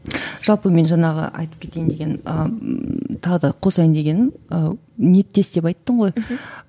жалпы мен жаңағы айтып кетейін деген ы тағы да қосайын дегенім ы ниеттес деп айттың ғой мхм